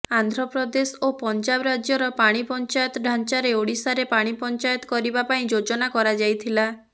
ଆନ୍ଧ୍ରପ୍ରଦେଶ ଓ ପଞ୍ଜାବ ରାଜ୍ୟର ପାଣି ପଞ୍ଚାୟତ ଢାଞ୍ଚାରେ ଓଡ଼ିଶାରେ ପାଣି ପଞ୍ଚାୟତ କରିବା ପାଇଁ ଯୋଜନା କରାଯାଇଥିଲା